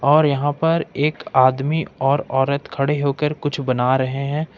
और यहां पर एक आदमी और औरत खड़े होकर कुछ बना रहे है।